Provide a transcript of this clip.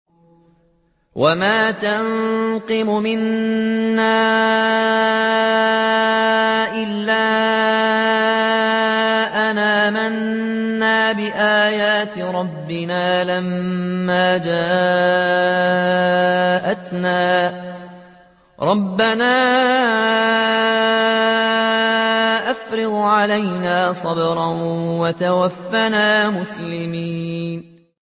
وَمَا تَنقِمُ مِنَّا إِلَّا أَنْ آمَنَّا بِآيَاتِ رَبِّنَا لَمَّا جَاءَتْنَا ۚ رَبَّنَا أَفْرِغْ عَلَيْنَا صَبْرًا وَتَوَفَّنَا مُسْلِمِينَ